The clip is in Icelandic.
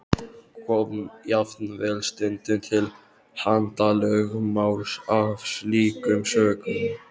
Kom jafnvel stundum til handalögmáls af slíkum sökum.